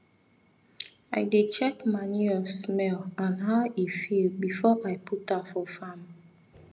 i dey check manure smell and how e feel before i put am for farm